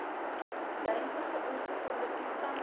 dynsige ongesonde toestande